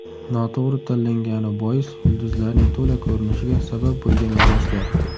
Noto‘g‘ri tanlangani bois yulduzlarning to‘la ko‘rinishiga sabab bo‘lgan liboslar .